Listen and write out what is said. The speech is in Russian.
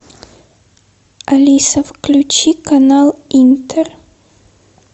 алиса включи канал интер